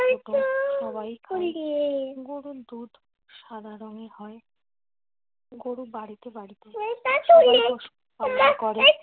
গরুর দুধ সাদা রঙের হয় গরু বাড়িতে বাড়িতে